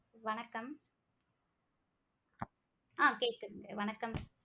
வணக்கம் ஆஹ் கேக்குதுங்க வணக்கம்.